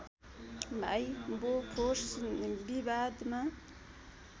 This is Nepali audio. भाइ बोफोर्स विवादमा